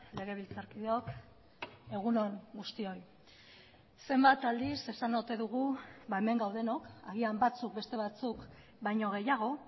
legebiltzarkideok egun on guztioi zenbat aldiz esan ote dugu hemen gaudenok agian batzuk beste batzuk baino gehiago